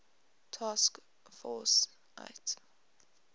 task force ietf